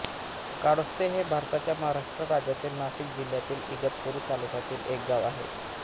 काळुस्ते हे भारताच्या महाराष्ट्र राज्यातील नाशिक जिल्ह्यातील इगतपुरी तालुक्यातील एक गाव आहे